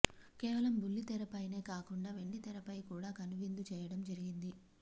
కేవలం బుల్లితెర పైనే కాకుండా వెండితెరపై కూడా కనువిందు చేయడం జరిగింది